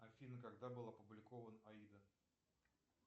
афина когда был опубликован аида